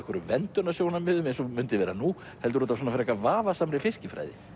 verndunarsjónarmiðum eins og mundi vera nú heldur út af frekar vafasamri fiskifræði